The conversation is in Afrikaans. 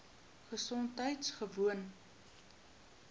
gesondheidgewoon